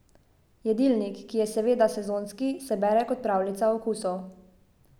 Jedilnik, ki je, seveda, sezonski, se bere kot pravljica okusov.